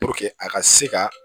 a ka se ka